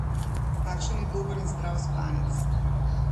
Kakšen je dober in zdrav spanec?